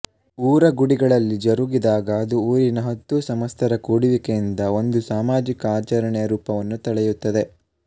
ಊರ ಗುಡಿಗಳಲ್ಲಿ ಜರುಗಿದಾಗ ಅದು ಊರಿನ ಹತ್ತೂ ಸಮಸ್ತರ ಕೂಡುವಿಕೆಯಿಂದ ಒಂದು ಸಾಮಾಜಿಕ ಆಚರಣೆಯ ರೂಪವನ್ನು ತಳೆಯುತ್ತದೆ